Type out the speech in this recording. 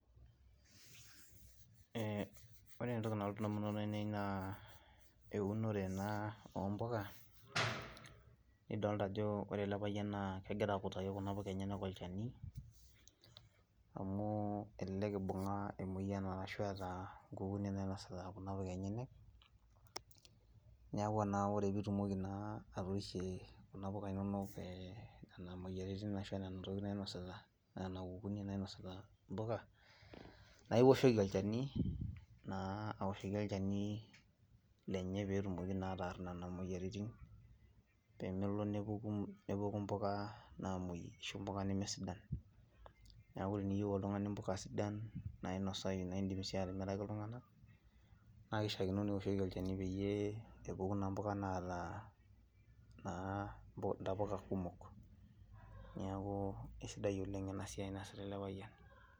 Oore entoki nalotu in'damunot ainei naa eunore eena ompuka, nidolta aajo oore ele payian naa kegira akutaki kuna puuka enyenak olchani, amuu elelek eibung'a emueyian arashu eeta inkukuni nainosita kuna puuka enyenak, niaku naa oore pee itumoki atorishie kuuna puka inonok nena mueyiaritin arashu nena tokitin nainosita, nena kukuni nainosita impuka, naa ioshoki olchani, aoshoki olchani lenye naa pee etumoki naa ataar nena mueyiaritin pee melo nepuku impuka naamuei arashu impuka nemesidan. Niaku teniyieu oltung'ani impuka sidan nainosau naidim sii atimiraki iltung'anak naa keishiakino niosh olchani pee epuku naa impuka naata naa intapuka kumok. Niaku aisidai oleng eena baye naasita eele payian.